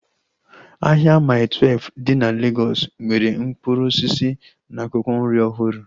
Ahịa Maii Twelfu dị na Legọs nwere mkpụrụ osisi na akwụkwọ nri ọhụrụ